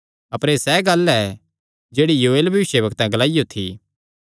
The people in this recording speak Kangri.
अपर एह़ सैह़ गल्ल ऐ जेह्ड़ी योएल भविष्यवक्ते ग्लाईयो थी